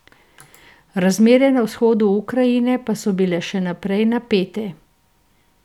Razmere na vzhodu Ukrajine pa so bile še naprej napete.